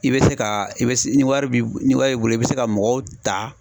I bɛ se ka i be se ni wari b'i ni wari b'i bolo i bi se ka mɔgɔw ta